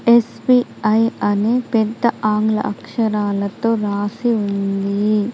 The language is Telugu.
ఎస్బిఐ అని పెద్ద ఆంగ్ల అక్షరాలతో రాసి ఉంది.